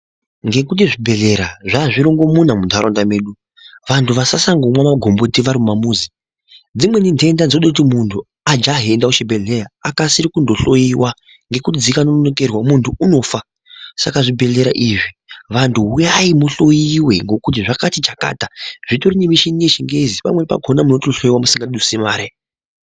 Ngekuti zvibhehlera zvaazvirongomuna munharaunda mwedu vantu vasasandomwa magomboti vari mumamuzi. Dzimweni nhenda dzode kuti munhu ajahenda kuchibhehleya akasire kundohloyiwa ngekuti dzikanonokerwa muntu unofa, saka zvibhehlera izvi vantu huyai muhloyiwe ngokuti zvakati chakata ,zvitori nemichini yechingezi, pamweni pakona munohloyiwa musingadusi mare.